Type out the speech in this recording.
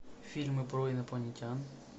фильмы про инопланетян